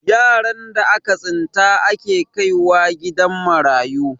yaran da aka tsinta ake kaiwa gidan marayu